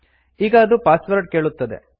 ಈಗ ಅದು ಪಾಸ್ವರ್ಡ್ ಕೇಳುತ್ತದೆ